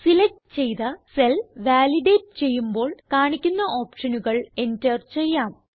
select ചെയ്ത cell validate ചെയ്യുമ്പോൾ കാണിക്കുന്ന ഓപ്ഷനുകൾ എന്റർ ചെയ്യാം